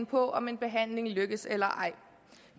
på om en behandling lykkes eller ej